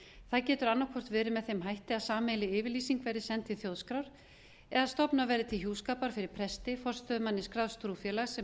það getur annaðhvort verið með þeim hætti að sameiginleg yfirlýsing verði send til þjóðskrár eða stofnað verði til hjúskapar fyrir presti forstöðumanni skráðs trúfélags sem